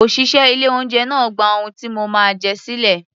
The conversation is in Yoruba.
Òṣìṣẹ́ ilé-oúnjẹ náà gba ohun tí mo máa jẹ sílẹ̀